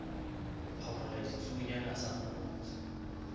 phamola ditsuonyana a sa mmotse